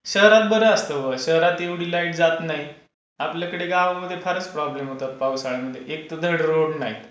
शहरात बरं असतं बाबा शहरात एवढी लाईन जात नाही. आपल्याकडे गावाकडे फारच प्रॉब्लेम होतात पावसाळ्यामध्ये. एकतर धड रोड नाहीत,